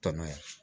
Tɔnɔ ye